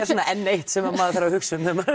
svona enn eitt sem maður þarf að hugsa um þegar maður